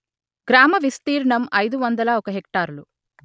గ్రామ విస్తీర్ణం అయిదు వందల ఒక హెక్టారులు